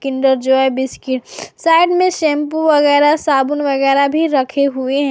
Kinder Joy biscuits side में shampoo वगैरा साबुन वगैरा भी रखे हुए हैं।